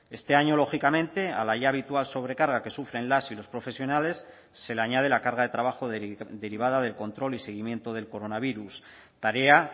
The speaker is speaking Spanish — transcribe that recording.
este año lógicamente a la ya habitual sobrecarga que sufren las y los profesionales se le añade la carga de trabajo derivada del control y seguimiento del coronavirus tarea